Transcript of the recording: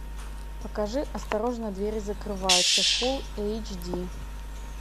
покажи осторожно двери закрываются фулл эйч ди